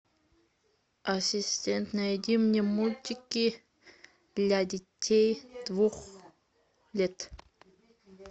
ассистент найди мне мультики для детей двух лет